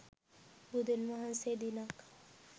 බුදුන් වහන්සේ දිනක්